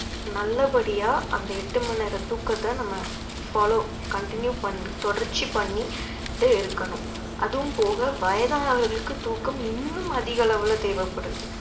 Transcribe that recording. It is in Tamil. நல்லபடியா அந்த எட்டு மணி நேர தூக்கத்தை நம்ம follow continue பண்~ தொடர்ச்சி பண்ணிட்டு இருக்கணும் அதுவும் போக வயதானவர்களுக்கு தூக்கம் இன்னும் அதிக அளவுல தேவைப்படுது